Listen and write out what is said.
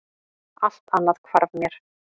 Allt annað hvarf mér.